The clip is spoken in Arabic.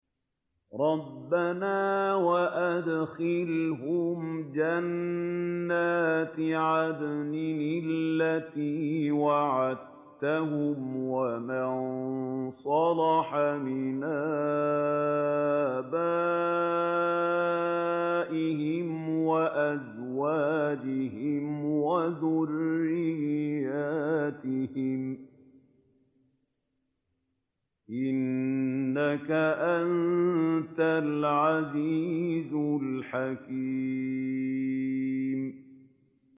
رَبَّنَا وَأَدْخِلْهُمْ جَنَّاتِ عَدْنٍ الَّتِي وَعَدتَّهُمْ وَمَن صَلَحَ مِنْ آبَائِهِمْ وَأَزْوَاجِهِمْ وَذُرِّيَّاتِهِمْ ۚ إِنَّكَ أَنتَ الْعَزِيزُ الْحَكِيمُ